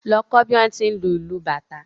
Lọ kọ́ bí wón ti ń lu ìlù bàtá